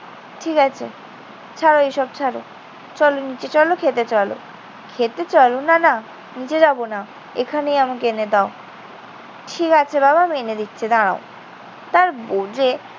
ঠিক আছে। ছাড়ো এসব ছাড়ো। চল নিচে চল, খেতে চল। খেতে চল না, না। নিচে যাবো না। এখানেই আমাকে এনে দাও। ঠিক আছে বাবা। আমি এনে দিচ্ছি, দাঁড়াও। তার বউ যেয়ে